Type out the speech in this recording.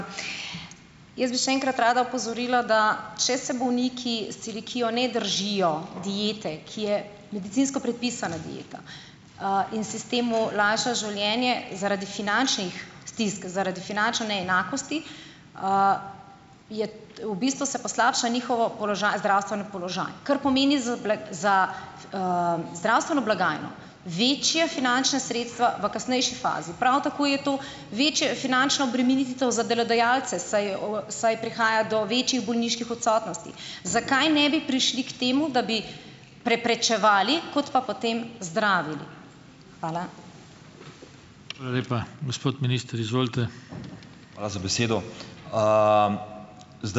Jaz bi še enkrat rada opozorila, da če se bolniki s celiakijo ne držijo diete, ki je medicinsko predpisana dieta, in si s tem lajšajo življenje, zaradi finančnih stisk, zaradi finančnih neenakosti, je v bistvu, se poslabša njihov položaj, zdravstveni položaj, kar pomeni za za, zdravstveno blagajno večja finančna sredstva v kasnejši fazi. Prav tako je to večja finančna obremenitev za delodajalce, saj saj prihaja do večjih bolniških odsotnosti. Zakaj ne bi prišli k temu, da bi preprečevali, kot pa potem zdravili? Hvala.